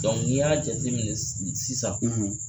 ni y'a jateminɛ sisan